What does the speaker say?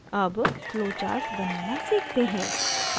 अब flowcharts बनाना सीखते हैं